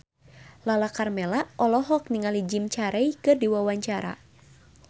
Lala Karmela olohok ningali Jim Carey keur diwawancara